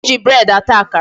E ji bread ata akara.